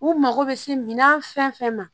U mago bɛ se minan fɛn fɛn ma